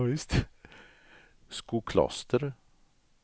Skokloster